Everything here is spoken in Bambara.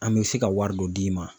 An bɛ se ka wari dɔ d'i ma